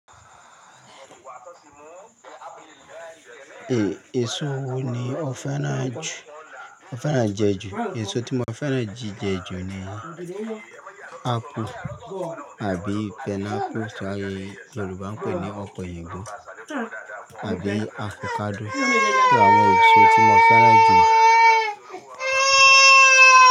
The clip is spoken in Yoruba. Èso wo ni ọ fẹ́ràn jù, ọ fẹ́ràn jẹ jù? Èso tí mo fẹ́ràn jí jẹ jù ni ápù àbí pineapple tí àwọn Yorùbá ń pè ní ọ̀pẹ oyìnbo àbí avocado. Sé àwọn èso tí mo fẹ́ràn jù.